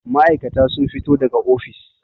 ma'aikata sun fito daga ofis